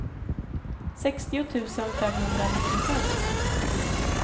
sextio tusen femhundranittiofem